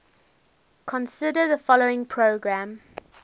consider the following program